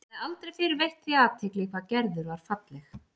Hann hafði aldrei fyrr veitt því athygli hvað Gerður var falleg.